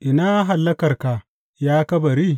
Ina hallakarka, ya kabari?